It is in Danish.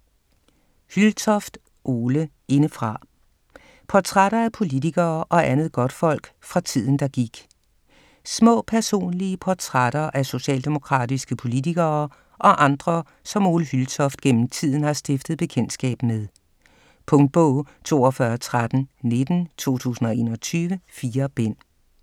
Hyltoft, Ole: Indefra: portrætter af politikere og andet godtfolk fra tiden der gik Små personlige portrætter af socialdemokratiske politikere og andre, som Ole Hyltoft gennem tiden har stiftet bekendtskab med. Punktbog 421319 2021. 4 bind.